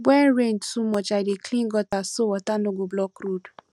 when rain too much i dey clear gutter so water no go block road